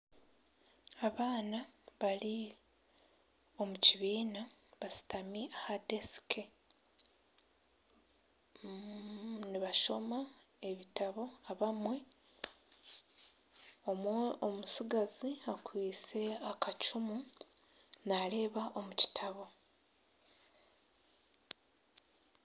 Abaana bari omu kibiina bashutami aha desiki nibashoma ebitabo abamwe omutsigazi akwitse akacumu nareeba omu kitabo.